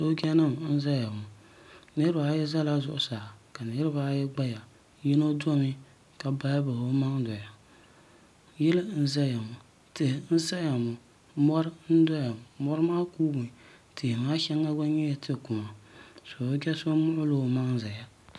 sooja nim n ʒɛya ŋo niraba ayi ʒɛla zuɣusaa ka niraba ayi gbaya yino domi ka bahi bahi o maŋ doya yili n ʒɛya ŋo tihi n saya ŋo mori n ʒɛya ŋo mori maa kuumi tihi maa shɛli gba nyɛla tia kuma sooja so muɣula o maŋ ʒɛya